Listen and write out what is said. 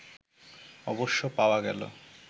অবশ্য পাওয়া গেল